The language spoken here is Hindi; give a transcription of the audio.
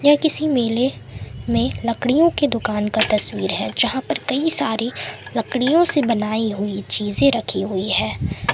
ए किसी मेले में लकड़ियों की दुकान का तस्वीर है जहां पर कई सारी लकड़ियों से बनाई हुई चीजे रखी हुई है।